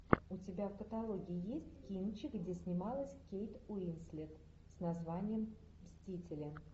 у тебя в каталоге есть кинчик где снималась кейт уинслет с названием мстители